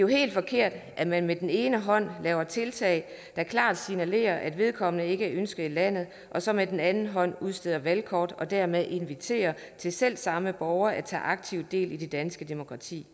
helt forkert at man med den ene hånd laver tiltag der klart signalerer at vedkommende ikke er ønsket i landet og så med den anden hånd udsteder valgkort og dermed inviterer selv samme borger til at tage aktivt del i det danske demokrati